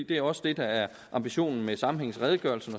det er også det der er ambitionen med sammenhængsredegørelsen